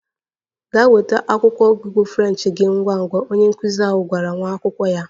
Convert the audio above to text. Gaa nweta akwụkwọ ọgụgụ French gị ngwa ngwa! Onye nkụzi ahụ gwara nwa akwụkwọ ya.